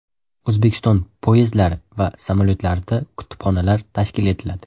O‘zbekiston poyezdlari va samolyotlarida kutubxonalar tashkil etiladi.